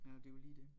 Ja det jo lige det